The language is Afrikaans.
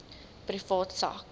privaat sak